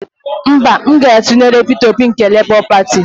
Mba, aga m atụnyere Peter Obi nke Lebọ Pati.